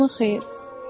Axşamın xeyir.